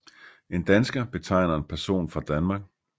En dansker betegner en person fra Danmark